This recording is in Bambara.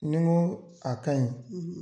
Ni goo a kaɲi